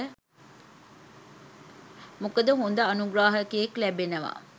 මොකද හොඳ අනුග්‍රාහකයෙක් ලැබෙනවා